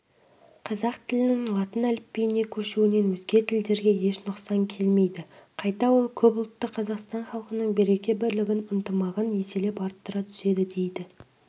қазақ тілінің латын әліпбиіне көшуінен өзге тілдерге еш нұқсан келмейді қайта ол көпұлтты қазақстан халқының береке-бірлігін ынтымағын еселеп арттыра түседі дейді